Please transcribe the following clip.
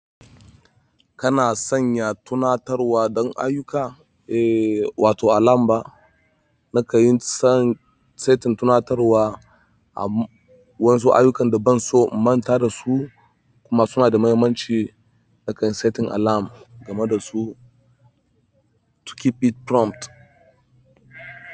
Kana sanya tunatarwa don aiyuka? Eh, wato alarm ba. Naka yin setting tunatarwa a wasu aiyukan da ban so in manta da su kuma suna da muhimmanci. Naka yin setting alarm game da su to keep it prompt.